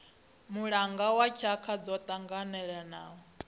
mulanga wa tshaka dzo tanganelanaho